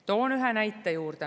Toon ühe näite juurde.